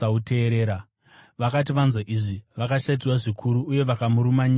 Vakati vanzwa izvi, vakashatirwa zvikuru uye vakamurumanyira meno avo.